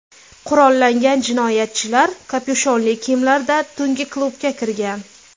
Qurollangan jinoyatchilar kapyushonli kiyimlarda tungi klubga kirgan.